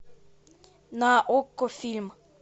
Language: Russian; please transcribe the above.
на окко фильм